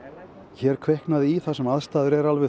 hér kviknaði í þar sem aðstæður eru